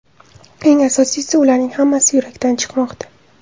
Eng asosiysi, ularning hammasi yurakdan chimoqda.